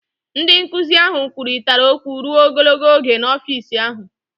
Ndị nkụzi ahụ kwurịtara okwu ruo ogologo oge n'ọfịs ahụ.